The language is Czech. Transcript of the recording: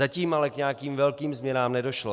Zatím ale k nějakým velkým změnám nedošlo.